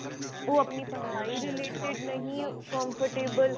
ਉਹ ਆਪਣੀ ਪੜ੍ਹਾਈ ਦੇ related ਨਹੀਂ comfortable